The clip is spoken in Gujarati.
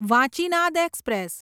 વાંચીનાદ એક્સપ્રેસ